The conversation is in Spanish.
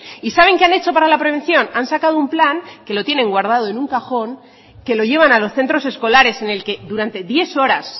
y saben qué han hecho para la prevención han sacado un plan que lo tienen guardado en un cajón que lo llevan a los centros escolares en el que durante diez horas